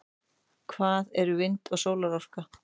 hvað eru vind og sólarorka